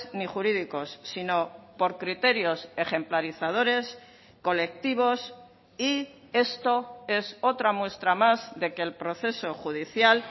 ni jurídicos sino por criterios ejemplarizadores colectivos y esto es otra muestra más de que el proceso judicial